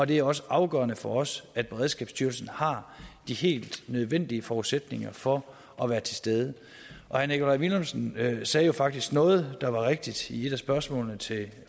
det er også afgørende for os at beredskabsstyrelsen har de helt nødvendige forudsætninger for at være til stede herre nikolaj villumsen sagde faktisk noget rigtigt i et af spørgsmålene til